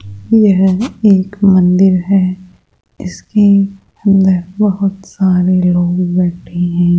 यह एक मंदिर है इसकी अंदर बहुत सारे लोग बैठे हैं।